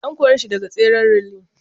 An kore shi daga tseren relay.